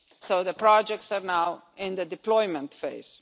So the projects are now in the deployment phase.